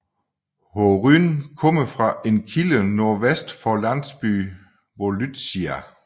Horyn kommer fra en kilde nordvest for landsbyen Volytsia